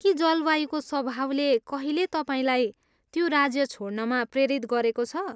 के जलवायुको स्वाभावले कहिले तपाईँलाई त्यो राज्य छोड्नमा प्रेरित गरेको छ?